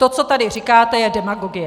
To, co tady říkáte, je demagogie.